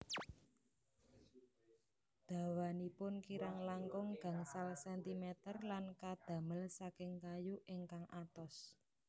Dawanipun kirang langkung gangsal sentimeter lan kadamel saking kayu ingkang atos